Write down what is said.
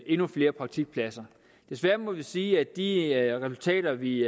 endnu flere praktikpladser desværre må vi sige at de resultater vi